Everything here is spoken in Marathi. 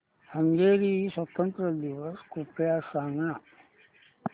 हंगेरी स्वातंत्र्य दिवस कृपया सांग ना